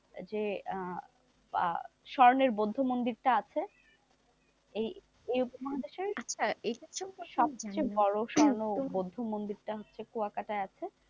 যে আহ স্বর্ণের বৌদ্ধ মন্দিরটা আছে, এই উপমহাদেশের সবথেকে বড় স্বর্ণ বৌদ্ধ মন্দির টা হচ্ছে কুয়াকাটায আছে,